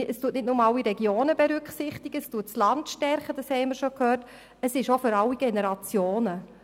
Es werden nicht nur alle Regionen berücksichtigt und die ländlichen Regionen gestärkt, es ist auch eine Strategie für alle Generationen.